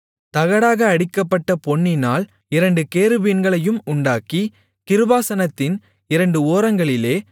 தகடாக அடிக்கப்பட்ட பொன்னினால் இரண்டு கேருபீன்களையும் உண்டாக்கி கிருபாசனத்தின் இரண்டு ஓரங்களிலே